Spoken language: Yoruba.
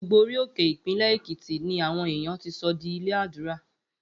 Gbogbo orí òkè Ìpínlè̩ Èkìtì ni àwo̩n èèyàn ti so̩ di ilé àdúra